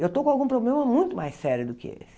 Eu estou com algum problema muito mais sério do que esse.